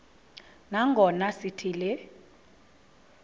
nangona sithi le